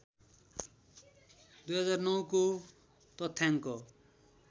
२००९ को तथ्याङ्क